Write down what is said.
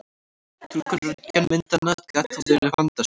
Túlkun röntgenmyndanna gat þó verið vandasöm.